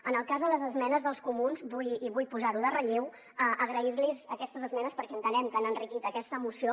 en el cas de les esmenes dels comuns vull i vull posar ho en relleu agrair los aquestes esmenes perquè entenem que han enriquit aquesta moció